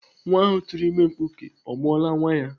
Nwa ahụ tụrụ ime mkpuke ọ mụọla nwa ya?